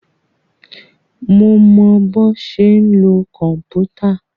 Mo mọ bọ́ ṣe ń lo kòmpútà.